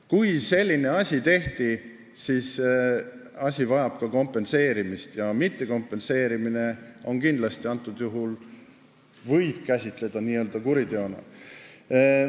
Kui selline asi tehti, siis see vajab kompenseerimist, ja mittekompenseerimist võib kindlasti käsitada kuriteona.